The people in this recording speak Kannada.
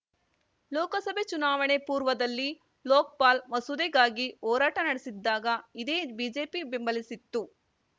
ಲೋಕಸಭೆ ಚುನಾವಣೆ ಪೂರ್ವದಲ್ಲಿ ಲೋಕ್ ಪಾಲ್‌ ಮಸೂದೆಗಾಗಿ ಹೋರಾಟ ನಡೆಸಿದ್ದಾಗ ಇದೇ ಬಿಜೆಪಿ ಬೆಂಬಲಿಸಿತ್ತು